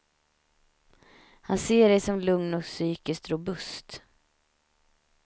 Han ser dig som lugn och psykiskt robust.